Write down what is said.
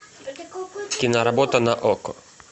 киноработа на окко